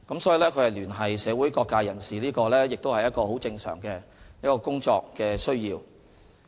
所以，聯繫社會各界人士是很正常的工作需要。